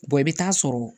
i bɛ taa sɔrɔ